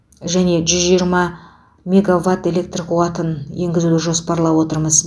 және жүз жиырма мегаватт электр қуатын енгізуді жоспарлап отырмыз